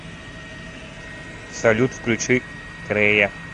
салют включи крэя